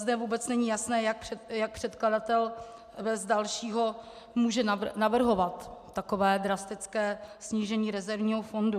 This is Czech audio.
Zde vůbec není jasné, jak předkladatel bez dalšího může navrhovat takové drastické snížení rezervního fondu.